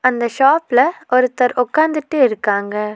அந்த ஷாப்ல ஒருத்தர் ஒக்காந்துட்டு இருக்காங்க.